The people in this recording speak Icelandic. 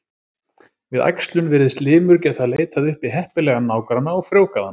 Við æxlun virðist limur getað leitað uppi heppilegan nágranna og frjóvgað hann.